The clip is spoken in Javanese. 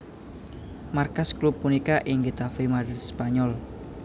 Markas klub punika ing Getafe Madrid Spanyol